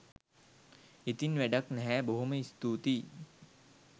ඉතින් වැඩක් නැහැ බොහොම ස්තුතියි